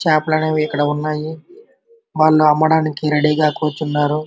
చేపలనేవి ఇక్కడ ఉన్నాయి వాళ్ళ అమ్మడానికి రెడీ గా కూర్చున్నారు.